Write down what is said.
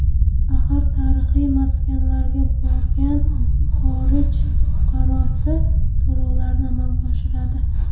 Axir, tarixiy maskanlarga borgan xorij fuqarosi to‘lovlarni amalga oshiradi.